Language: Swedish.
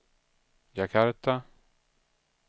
Jakarta